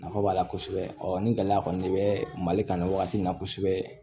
Nafa b'a la kosɛbɛ ni gɛlɛya kɔni bɛ mali kan nin wagati in na kosɛbɛ